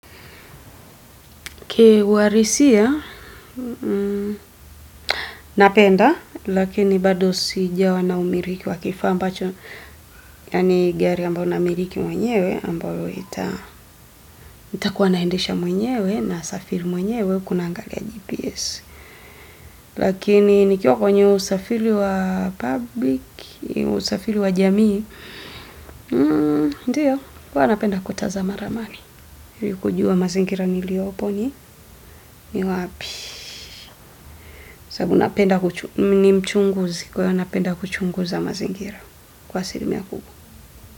Ki uhalisia, napenda, lakini bado sijawa na umiliki wakifaa ambacho, yaani gari ambayo namiliki mwenyewe ambayo nitakuwa naendesha mwenyewe na safiri mwenyewe hakunanga GPS. Lakini nikiwa kwenye usafiri wa public, usafiri wa jamii, ndio, huwa napenda kutazama ramani, kujua mazingira niliopo ni, ni wapi. Mchunguzi kwa wanaopenda kuchunguza mazingira kwa asili mia kubwa.